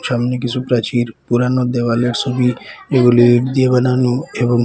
সামনে কিছু প্রাচীর পুরানো দেওয়ালের সবি এগুলি দিয়ে বানানো এবং--